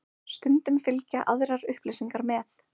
Stundum fylgja aðrar upplýsingar með.